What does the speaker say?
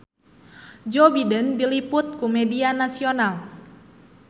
Joe Biden diliput ku media nasional